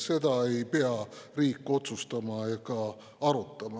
Seda ei pea riik otsustama ega arutama.